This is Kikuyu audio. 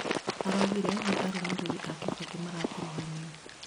araũgire nĩ arumĩrĩri a Kibaki marakuruhanio